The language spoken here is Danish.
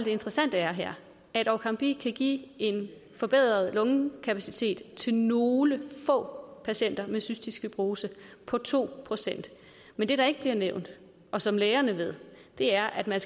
interessante er her at orkambi kan give en forbedret lungekapacitet til nogle få patienter med cystisk fibrose på to procent men det der ikke bliver nævnt og som lægerne ved er at man